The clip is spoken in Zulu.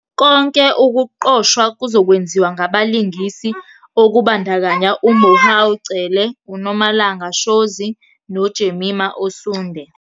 Konke ukuqoshwa kuzokwenziwa ngabalingisi okubandakanya uMohau Cele, uNomalanga Shozi noJemima Osunde.